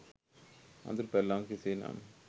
අඳුරු පැල්ලමක් කෙසේනම්